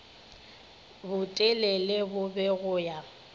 botelele bo be go ya